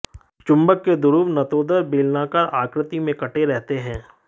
चुंबक के ध्रुव नतोदर बेलनाकार आकृति में कटे रहते हैं